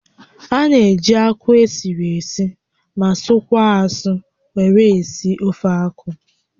A na-eji akwụ esiri esi ma sụkwaa asụ were esi ofeakwụ